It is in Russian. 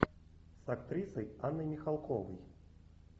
с актрисой анной михалковой